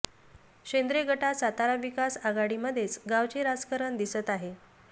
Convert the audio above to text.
शेंद्रे गटात सातारा विकास आघाडीमध्येच गावचे राजकारण दिसत आहे